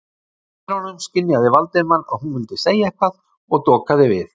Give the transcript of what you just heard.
Í dyrunum skynjaði Valdimar að hún vildi segja eitthvað og dokaði við.